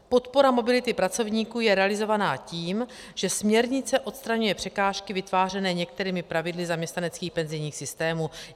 Podpora mobility pracovníků je realizována tím, že směrnice odstraňuje překážky vytvářené některými pravidly zaměstnaneckých penzijních systémů.